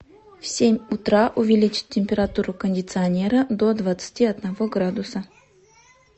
в семь утра увеличить температуру кондиционера до двадцати одного градуса